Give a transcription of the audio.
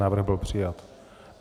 Návrh byl přijat.